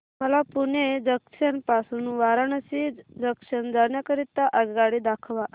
मला पुणे जंक्शन पासून वाराणसी जंक्शन जाण्या करीता आगगाडी दाखवा